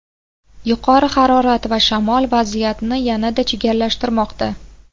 Yuqori harorat va shamol vaziyatni yanada chigallashtirmoqda.